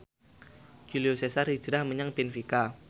Julio Cesar hijrah menyang benfica